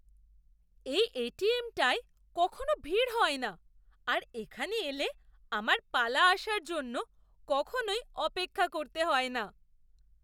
এই এটিএম টায় কখনও ভিড় হয় না আর এখানে এলে আমার পালা আসার জন্য কখনোই অপেক্ষা করতে হয় না।